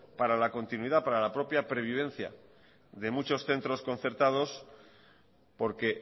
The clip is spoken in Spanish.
para la continuidad para la propia previvencia de muchos centros concertados porque